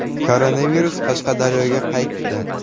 Koronavirus Qashqadaryoga qaytdi.